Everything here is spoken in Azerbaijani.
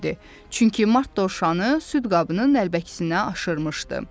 Çünki mart dovşanı süd qabının nəlbəkisinə aşırıbmışdı.